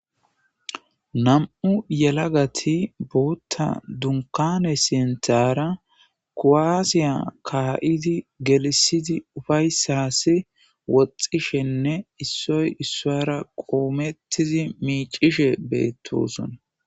Nam7u yalagati bootan dunkkaane sinthaara kuwaasiya kaa7idi gelissidi ufayssaasi woxxishenne issoy issuwara qoomettizi miiccishe beettosona.